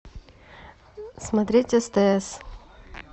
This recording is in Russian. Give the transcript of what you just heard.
смотреть стс